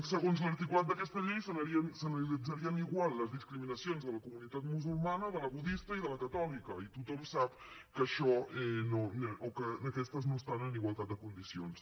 segons l’articulat d’aquesta llei s’analitzarien igual les discriminacions a la comunitat musulmana a la budista i a la catòlica i tothom sap que això o que aquestes no estan en igualtat de condicions